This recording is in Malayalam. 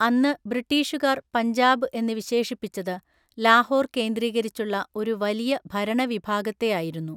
അന്ന് ബ്രിട്ടീഷുകാർ പഞ്ചാബ് എന്ന് വിശേഷിപ്പിച്ചത് ലാഹോർ കേന്ദ്രീകരിച്ചുള്ള ഒരു വലിയ ഭരണവിഭാഗത്തെയായിരുന്നു.